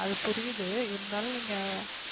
அது புரியுது இருந்தாலும் நீங்க